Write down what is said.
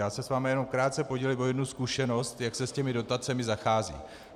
Já se s vámi jenom krátce podělím o jednu zkušenost, jak se s těmi dotacemi zachází.